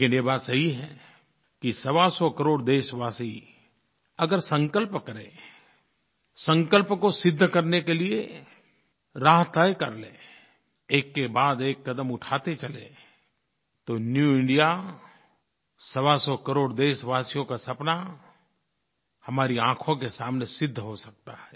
लेकिन ये बात सही है कि सवासौ करोड़ देशवासी अगर संकल्प करें संकल्प को सिद्ध करने के लिये राह तय कर लें एककेबादएक क़दम उठाते चलें तो न्यू इंडिया सवासौ करोड़ देशवासियों का सपना हमारी आँखों के सामने सिद्ध हो सकता है